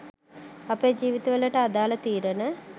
අපේ ජීවිත වලට අදාල තීරණ